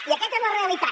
i aquesta és la realitat